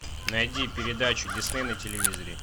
найди передачу дисней на телевизоре